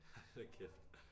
Hold kæft